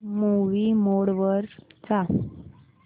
movie mode वर जा